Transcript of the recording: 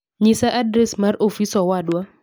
nyisa adres mar ofis owadwa